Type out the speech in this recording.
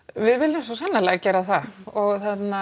við viljum svo sannarlega gera það og